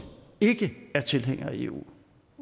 ikke er tilhængere af eu